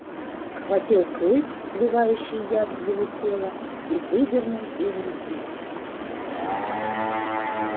схватил клык вливавший яд в его тело и выдернул из руки